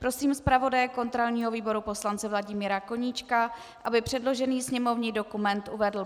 Prosím zpravodaje kontrolního výboru poslance Vladimíra Koníčka, aby předložený sněmovní dokument uvedl.